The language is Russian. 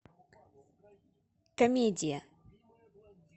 комедия